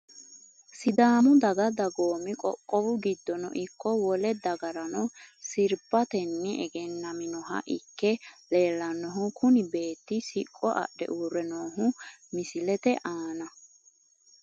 Sidaamu daga dagoo.i qoqqowu giddono ikko wole dagarano sirbateni egenaminoha ikke leelanohu kuni beeti siqqo adhe uure noohu misilete aana .